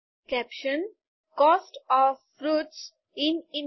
caption cost of fruits in India